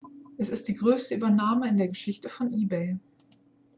es ist die größte übernahme in der geschichte von ebay